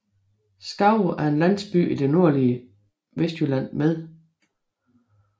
Skave er en landsby i det nordlige Vestjylland med